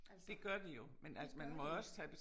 Altså det gør de